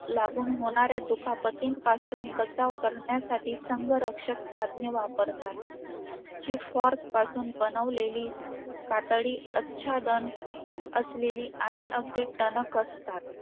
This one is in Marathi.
काय नाय योग ने एक जुना camera आणून दिला म~